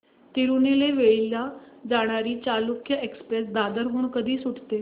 तिरूनेलवेली ला जाणारी चालुक्य एक्सप्रेस दादर हून कधी सुटते